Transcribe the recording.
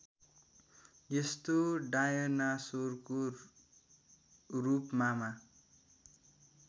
यस्तो डायनासोरको रूपमामा